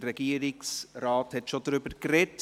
Der Regierungsrat hat bereits darüber gesprochen.